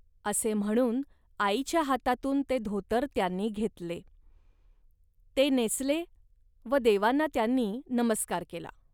असे म्हणून आईच्या हातातून ते धोतर त्यांनी घेतले. ते नेसले व देवांना त्यांनी नमस्कार केला